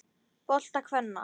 bolta kvenna.